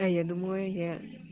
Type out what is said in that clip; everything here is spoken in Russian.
а я думаю я